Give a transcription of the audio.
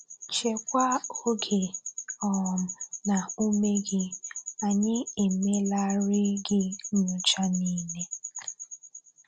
Chekwaa oge um na ume gị, anyị emelarị gị nyocha niile!